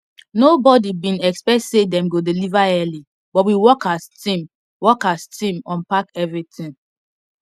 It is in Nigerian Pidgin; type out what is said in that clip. no body bin expect say them go deliver early but we work as team work as team unpack everything